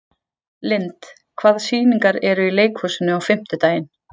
Lynd, hvaða sýningar eru í leikhúsinu á fimmtudaginn?